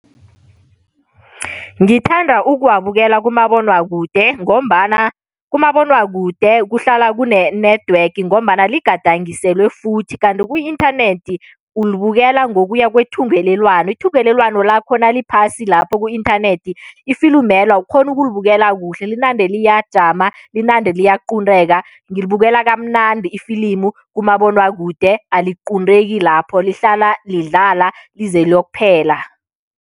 Ngithanda ukuwabukela kumabonwakude ngombana kumabonwakude kuhlala kune-network ngombana ligadangiselwe futhi kanti ku-inthanethi, ulibukela ngokuya kwethungelelwano. Ithungelelwano lakho naliphasi lapho ku-inthanethi ifilimelo awukghoni ukulibukela kuhle, linande liyajama, linande liyaqunteka. Ngilibukela kamnandi ifilimu kumabonwakude, aliqunteki lapho, lihlala lidlala lize liyokuphela.